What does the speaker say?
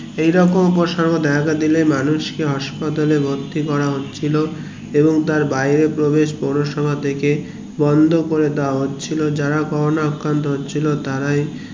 এরকম উপসর্গ দেখা দিলে মানুষকে হাসপাতালে ভর্র্তী করা হচ্ছিল এবং তার বাইরে প্রবেশ পৌরসভা থেকে বন্ধ করে দিয়া হচ্ছিলো যারা করোনা আক্রান্ত হচ্ছিলো তারাই